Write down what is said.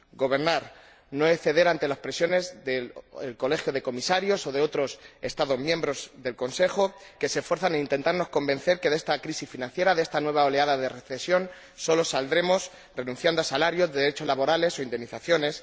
Gobernar no es ceder ante las presiones del Colegio de Comisarios o de otros Estados miembros del Consejo que se esfuerzan en intentarnos convencer de que de esta crisis financiera, de esta nueva oleada de recesión, solo saldremos renunciando a salarios, derechos laborales o indemnizaciones